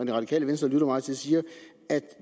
det radikale venstre lytter meget til siger at